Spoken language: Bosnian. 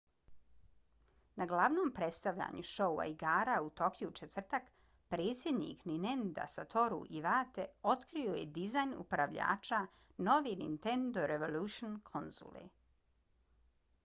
na glavnom predstavljanju šoua igara u tokiju u četvrtak predsjednik ninenda satoru iwate otkrio je dizajn upravljača nove nintendo revolution konzole